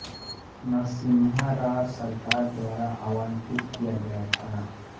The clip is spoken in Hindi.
नरसिम्हा राव सरकार द्वारा आवंटित किया गया था